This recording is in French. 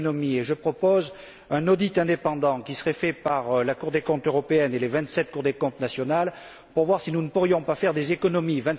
Et je propose un audit indépendant, qui serait réalisé par la Cour des comptes européenne et par les vingt sept cours des comptes nationales, pour voir si nous ne pourrions pas faire des économies.